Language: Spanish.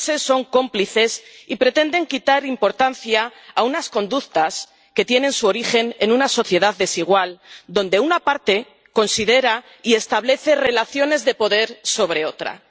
frases son cómplices y pretenden quitar importancia a unas conductas que tienen su origen en una sociedad desigual, donde una parte considera y establece relaciones de poder sobre otra.